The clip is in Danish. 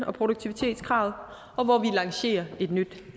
og produktivitetskravet og hvor vi lancerer